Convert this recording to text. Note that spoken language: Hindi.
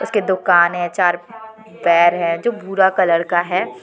उसके दोकान है चार पैर है जो भूरा कलर का है।